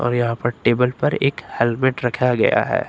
यहां पर टेबल पर एक हेलमेट रखाया गया है।